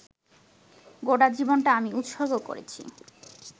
গোটা জীবনটা আমি উৎসর্গ করেছি